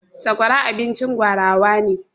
Sakwara abincin gwarawa ne.